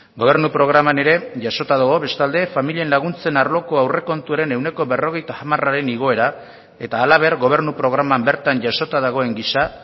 gobernu programan ere jasota dago bestalde familien laguntzen arloko aurrekontuaren ehuneko berrogeita hamararen igoera eta halaber gobernu programan bertan jasota dagoen gisa